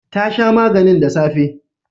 Ta sha maganin da safe